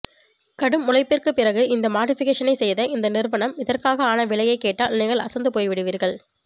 கடும் உழைப்பிற்கு பிறகு இந்த மாடிபிகேஷனை செய்த இந்நிறுவனம் இதற்காக ஆன விலையை கேட்டால் நீங்கள் அசந்து போய் விடுவீர்கள்